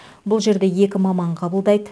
бұл жерде екі маман қабылдайды